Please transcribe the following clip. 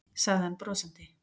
sagði hann brosandi.